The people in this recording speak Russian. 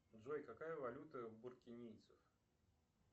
джой какая валюта у буркинийцев